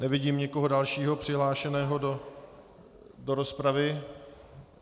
Nevidím nikoho dalšího přihlášeného do rozpravy.